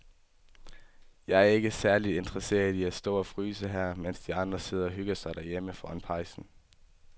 Jeg er ikke særlig interesseret i at stå og fryse her, mens de andre sidder og hygger sig derhjemme foran pejsen.